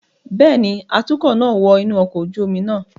Bẹẹni, atukọ naa wọ inu ọkọ oju omi naa